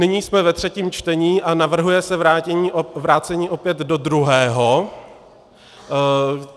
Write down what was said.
Nyní jsme ve třetím čtení a navrhuje se vrácení opět do druhého.